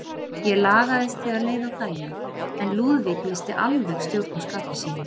Ég lagaðist þegar leið á daginn, en Lúðvík missti alveg stjórn á skapi sínu.